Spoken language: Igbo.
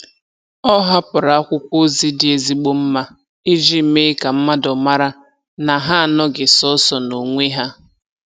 Ọ hapụrụ akwụkwọ ozi dị ezigbo mma iji mee ka mmadụ mara na ha anoghị sọọsọ n'onwe ha.